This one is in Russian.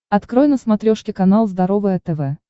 открой на смотрешке канал здоровое тв